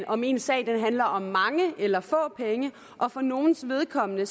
om ens sag handler om mange eller få penge og for nogles vedkommende